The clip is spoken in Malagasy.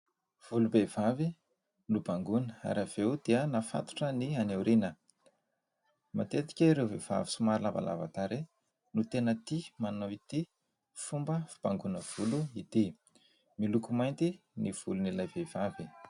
Volom-behivavy nobangoina ary aveo dia nafatotra ny any aoriana. Matetika ireo vehivavy somary lavalava tarehy no tena tia manao ity fomba fibangoina volo ity, miloko mainty ny volon'ilay vehivavy.